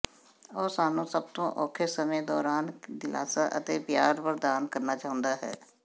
ਉਹ ਸਾਨੂੰ ਸਭ ਤੋਂ ਔਖੇ ਸਮੇਂ ਦੌਰਾਨ ਦਿਲਾਸਾ ਅਤੇ ਪਿਆਰ ਪ੍ਰਦਾਨ ਕਰਨਾ ਚਾਹੁੰਦਾ ਹੈ